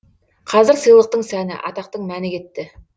қазір сыйлықтың сәні атақтың мәні кетті